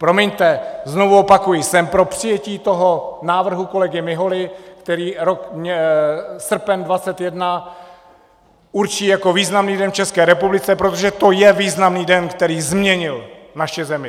Promiňte, znovu opakuji, jsem pro přijetí toho návrhu kolegy Miholy, který srpen 21 určí jako významný den v České republice, protože to je významný den, který změnil naši zemi.